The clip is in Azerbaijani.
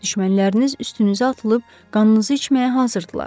Düşmənləriniz üstünüzə atılıb qanınızı içməyə hazırdılar.